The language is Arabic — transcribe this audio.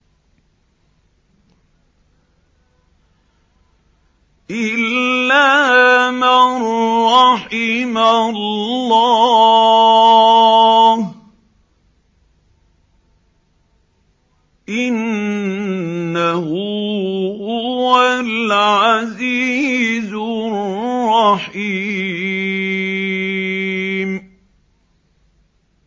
إِلَّا مَن رَّحِمَ اللَّهُ ۚ إِنَّهُ هُوَ الْعَزِيزُ الرَّحِيمُ